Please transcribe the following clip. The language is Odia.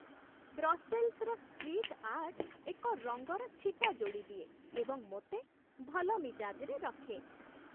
ବ୍ରସେଲ୍‌ସ୍‌ର ଷ୍ଟ୍ରିଟ୍ ଆର୍ଟ ଏକ ରଙ୍ଗର ଛିଟା ଯୋଡ଼ିଦିଏ ଏବଂ ମୋତେ ଭଲ ମିଜାଜ୍‌ରେ ରଖେ।